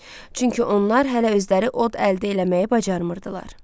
Çünki onlar hələ özləri od əldə eləməyi bacarmırdılar.